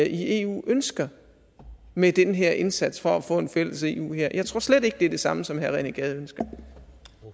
i eu ønsker med den her indsats for at få en fælles eu hær jeg tror slet ikke det er det samme som herre rené gade